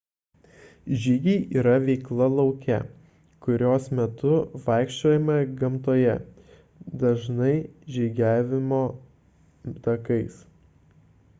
žygiai yra veikla lauke kurios metu vaikščiojama gamtoje dažnai žygiavimo takais